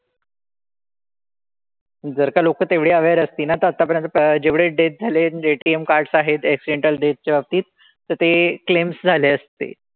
जर का लोकं तेवढी aware असती ना तर आतापर्यंत जेवढे death झाले म्हणजे ATM cards आहेत accidental death च्या बाबतीत तर ते claims झाले असते.